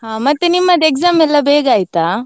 ಹಾ ಮತ್ತೆ, ನಿಮ್ಮದ್ exam ಎಲ್ಲಾ ಬೇಗ ಆಯ್ತಾ?